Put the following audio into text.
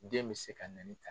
Den bɛ se ka na nin ta